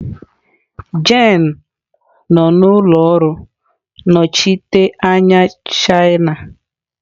Jane nọ n'ụlọ ọrụ nnọchiteanya China.